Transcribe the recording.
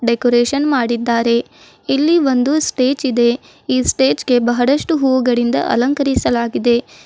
Decoration ಮಾಡಿದ್ದಾರೆ ಇಲ್ಲಿ ಒಂದು ಸ್ಟೇಜ್ ಇದೆ ಈ ಸ್ಟೇಜ್ ಗೆ ಬಹಳಷ್ಟು ಹೂವುಗಳಿಂದ ಅಲಂಕರಿಸಲಾಗಿದೆ.